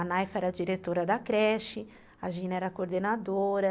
A Naifa era a diretora da creche, a Gina era a coordenadora.